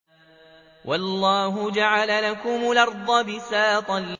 وَاللَّهُ جَعَلَ لَكُمُ الْأَرْضَ بِسَاطًا